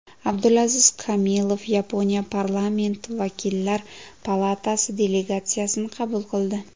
Abdulaziz Kamilov Yaponiya Parlamenti Vakillar palatasi delegatsiyasini qabul qildi.